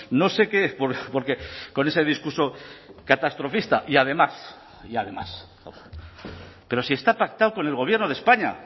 no sé qué porque con ese discurso catastrofista y además y además pero sí está pactado con el gobierno de españa